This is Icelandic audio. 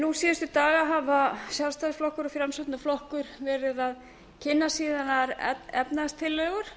nú síðustu daga hafa sjálfstæðisflokkur og framsóknarflokkur verið að kynna sínar efnahagstillögur